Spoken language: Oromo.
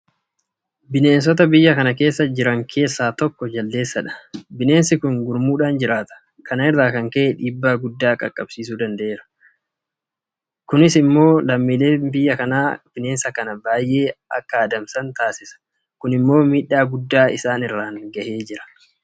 Bineensota biyya kana keessa jiraan keessaa tokko Jaldeessadha. Bineensi kun gurmuudhaan jiraata. Kana irraa kan ka'e dhiibbaa guddaa qaqqabsiisuu danda'eera. Kana irraa kan ka'e lammiileen biyya kanaa bineensa kana baay'ee adamsu. Kun immoo miidhaa guddaa isaan irraan gaheera.